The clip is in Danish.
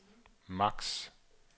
max